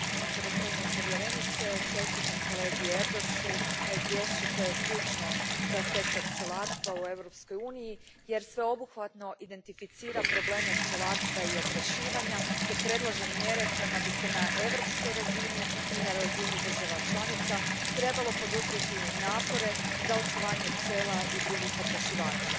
Gospođo predsjednice, čestitam kolegi Erdősu na izvješću koje je ključno za sektor pčelarstva u Europskoj uniji jer sveobuhvatno identificira probleme pčelarstva i oprašivanja te predlaže mjere kojima bi se na europskoj razini i na razini država članica trebalo poduprijeti napore za očuvanje pčela i drugih oprašivača.